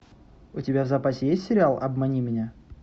у тебя в запасе есть сериал обмани меня